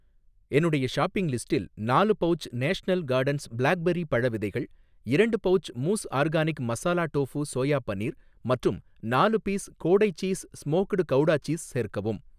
என்னுடைய ஷாப்பிங் லிஸ்டில் நாலு பவுச் நேஷனல் காடன்ஸ் பிளாக்பெர்ரி பழ விதைகள், இரண்டு pouch moose organic masala tofu soya paneer மற்றும் நாலு பீஸ் கோடை சீஸ் ஸ்மோக்டு கவுடா சீஸ் சேர்க்கவும்.